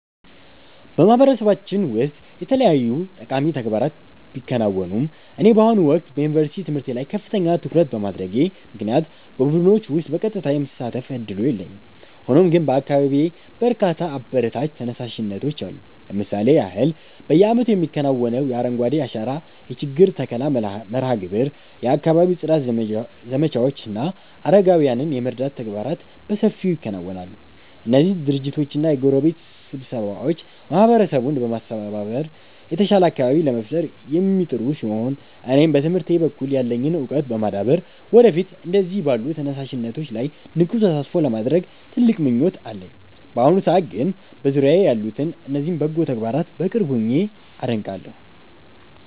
በማህበረሰባችን ውስጥ የተለያዩ ጠቃሚ ተግባራት ቢከናወኑም፣ እኔ በአሁኑ ወቅት በዩኒቨርሲቲ ትምህርቴ ላይ ከፍተኛ ትኩረት በማድረጌ ምክንያት በቡድኖች ውስጥ በቀጥታ የመሳተፍ ዕድሉ የለኝም። ሆኖም ግን በአካባቢዬ በርካታ አበረታች ተነሳሽነቶች አሉ። ለምሳሌ ያህል፣ በየዓመቱ የሚከናወነው የአረንጓዴ አሻራ የችግኝ ተከላ መርሃ ግብር፣ የአካባቢ ጽዳት ዘመቻዎች እና አረጋውያንን የመርዳት ተግባራት በሰፊው ይከናወናሉ። እነዚህ ድርጅቶችና የጎረቤት ስብስቦች ማህበረሰቡን በማስተባበር የተሻለ አካባቢ ለመፍጠር የሚጥሩ ሲሆን፣ እኔም በትምህርቴ በኩል ያለኝን ዕውቀት በማዳበር ወደፊት እንደነዚህ ባሉ ተነሳሽነቶች ላይ ንቁ ተሳትፎ ለማድረግ ትልቅ ምኞት አለኝ። በአሁኑ ሰዓት ግን በዙሪያዬ ያሉትን እነዚህን በጎ ተግባራት በቅርብ ሆኜ አደንቃለሁ።